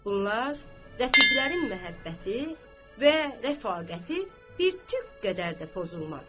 Bunlar rəfiqlərin məhəbbəti və rəfaqəti bir tük qədər də pozulmadı.